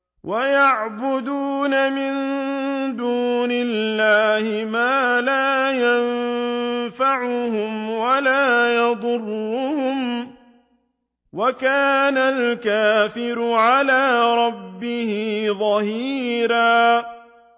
وَيَعْبُدُونَ مِن دُونِ اللَّهِ مَا لَا يَنفَعُهُمْ وَلَا يَضُرُّهُمْ ۗ وَكَانَ الْكَافِرُ عَلَىٰ رَبِّهِ ظَهِيرًا